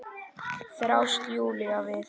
þráast Júlía við.